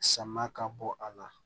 Sama ka bɔ a la